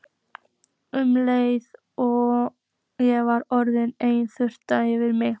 Um leið og ég var orðin ein þyrmdi yfir mig.